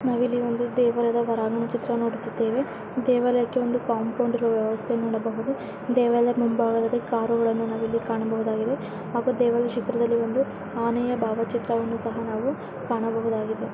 ನಾವು ಇಲ್ಲಿ ಒಂದು ದೇವಾಲಯದ ಹೊರಾಂಗಣ ಚಿತ್ರ ನೋಡುತ್ತಿದ್ದೇವೆ. ದೇವಾಲಯಕ್ಕೆ ಒಂದು ಕಾಂಪೌಂಡ್ ಇರುವ ವ್ಯವಸ್ಥೆ ನೋಡಬಹುದು ದೇವಾಲಯದ ಮುಂಭಾಗದಲ್ಲಿ ಕಾರುಗಳನ್ನು ನಾವಿಲ್ಲಿ ಕಾಣಬಹುದಾಗಿದೆ ಹಾಗೂ ದೇವಾಲಯದ ಶಿಖರದಲ್ಲಿ ಒಂದು ಆನೆಯ ಭಾವಚಿತ್ರವನ್ನು ಸಹ ನಾವು ಕಾಣಬಹುದಾಗಿದೆ.